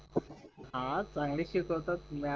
हा चांगली शिकवतात मॅम